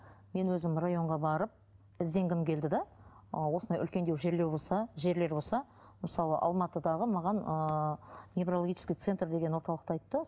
мен өзім районға барып ізденгім келді де ы осындай үлкендеу болса жерлер болса мысалы алматыдағы маған ыыы неврологический центр деген орталықты айтты